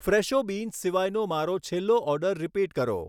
ફ્રૅશો beans સિવાયનો મારો છેલ્લો ઑર્ડર રીપીટ કરો